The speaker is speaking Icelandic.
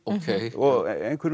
og